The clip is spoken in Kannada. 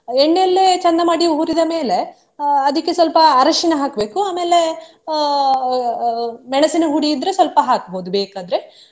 ಎಣ್ಣೆಯಲ್ಲೆ ಚಂದ ಮಾಡಿ ಹುರಿದ ಮೇಲೆ ಅಹ್ ಅದಿಕ್ಕೆ ಸ್ವಲ್ಪ ಅರಶಿನ ಹಾಕ್ಬೇಕು ಆಮೇಲೆ ಅಹ್ ಅಹ್ ಮೆಣಸಿನಹುಡಿ ಇದ್ರೆ ಸ್ವಲ್ಪ ಹಾಕ್ಬಹುದು ಬೇಕಾದ್ರೆ.